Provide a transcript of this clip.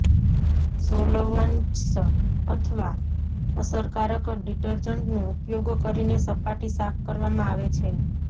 solvents અથવા અસરકારક ડિટર્જન્ટનો ઉપયોગ કરીને સપાટી સાફ કરવામાં આવે છે